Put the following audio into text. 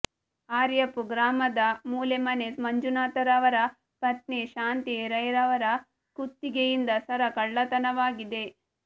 ಆರ್ಯಾಪು ಗ್ರಾಮದ ಮೂಲೆಮನೆ ಮಂಜುನಾಥರವರ ಪತ್ನಿ ಶಾಂತಿ ರೈಯವರ ಕುತ್ತಿಗೆಯಿಂದ ಸರ ಕಳ್ಳತನವಾಗಿದೆ